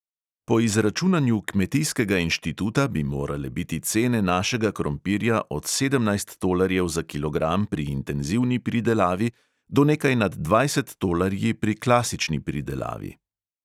Po izračunanju kmetijskega inštituta bi morale biti cene našega krompirja od sedemnajst tolarjev za kilogram pri intenzivni pridelavi do nekaj nad dvajset tolarji pri klasični pridelavi.